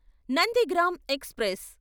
Nandigram express